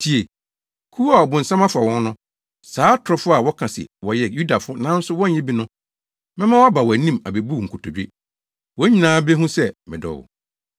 Tie! Kuw a ɔbonsam afa wɔn no, saa atorofo a wɔka se wɔyɛ Yudafo nanso wɔnyɛ bi no, mɛma wɔaba wʼanim abebu wo nkotodwe. Wɔn nyinaa behu sɛ medɔ wo.